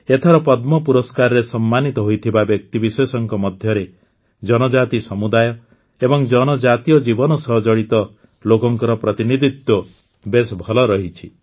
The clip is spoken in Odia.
ଏଥର ପଦ୍ମ ପୁରସ୍କାରରେ ସମ୍ମାନିତ ହୋଇଥିବା ବ୍ୟକ୍ତିବିଶେଷଙ୍କ ମଧ୍ୟରେ ଜନଜାତି ସମୁଦାୟ ଏବଂ ଜନଜାତୀୟ ଜୀବନ ସହ ଜଡ଼ିତ ଲୋକଙ୍କର ପ୍ରତିନିଧିତ୍ୱ ବେଶ ଭଲ ରହିଛି